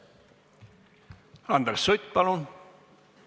Andres Sutt, palun!